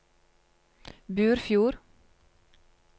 Burfjord